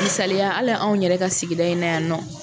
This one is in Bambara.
Misaliya hali anw yɛrɛ ka sigida in na yan nɔ.